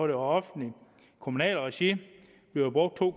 i offentligt kommunalt regi bliver brugt to